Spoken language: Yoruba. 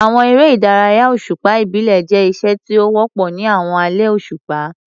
Àwọn eré ìdárayá òṣùpá ìbílẹ̀ jẹ́ iṣẹ́ tí ó wọ́pọ̀ ní àwọn alẹ́ òṣùpá.